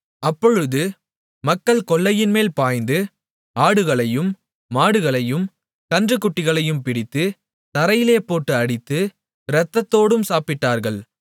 அப்பொழுது மக்கள் கொள்ளையின்மேல் பாய்ந்து ஆடுகளையும் மாடுகளையும் கன்றுக்குட்டிகளையும் பிடித்து தரையிலே போட்டு அடித்து இரத்தத்தோடும் சாப்பிட்டார்கள்